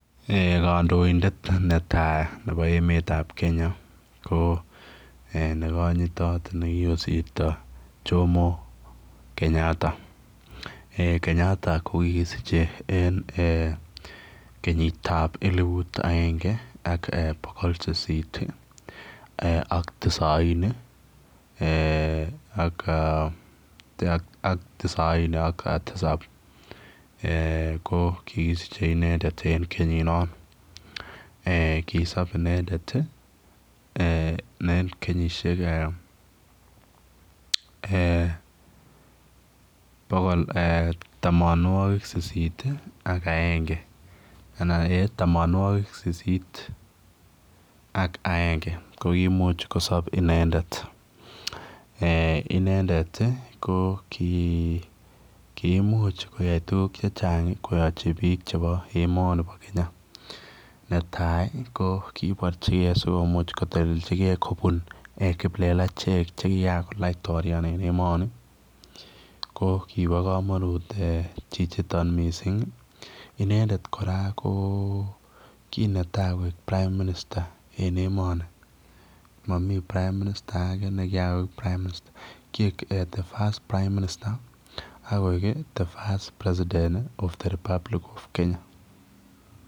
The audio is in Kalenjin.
Eeh kandoindet netai nebo emet ab Kenya ko eeh ko nekanyitaat jomo Kenyatta eeh Kenyatta kokisichei even eeh kenyiit ab elibut agengee ak bogol sisiit ii ak tisaini ak eeh tisaini ak tisaap ko kikosichei inendet en kenyiin noon kisoop inendet en kenyisiek eeh eeh bogol bogol eeh tamanwagik sisiit ak agenge anan tamanwagik sisiit ak agenge ko komuuch kosaap inendet eeh inendet ko kii komuuch koyai tuguuk che chaang koyachii biik chebo emani bo Kenya kibarjigei sikomuuch koteleljigei kobuun kiplelacheeck che kian kiakolaitoraan en emanii ko kiboo kamanut chichitoon missing inendet kora ko ki netai koek prime minister en emanii mamii prime minister agei ne kian koek kieg [the first prime minister] ak koek ii [the first president of the republic of kenya].